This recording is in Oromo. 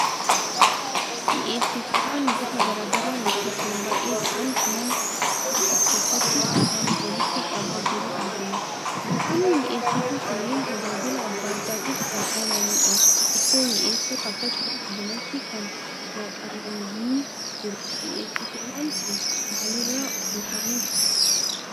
Mi'eessituuwwan gosa garaa garaa lakkoofsaan baay'ee ta'an man-kuusaa keessatti nama walitti qabaa jiru argina. Gosoonni mi'eessituu kunneen tajaajila adda addaatiif kan oolanidha. Ittoo mi'eessuuf akkasumas bunatti kan naqaman ni jiru. Mi'eessituuwwan kun maalirraa oomishamu?